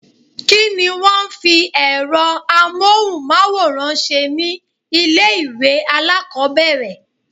Kí ni wón ń fi èrọ amóhùnmáwòrán ṣe ni ilé ìwé alákòbẹ̀rẹ̀?